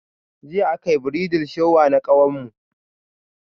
Jiya akayi "bridal shower"na ƙawarmu.